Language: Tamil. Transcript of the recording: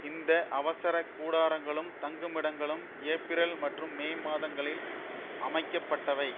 இந்த அவசர கூடராங்களும் தங்குமிடங்களும் ஏப்பிரல் மற்றும் மே மாதங்களில் அமைக்கப்பட்டவை